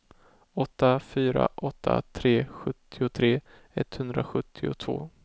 åtta fyra åtta tre sjuttiotre etthundrasjuttiotvå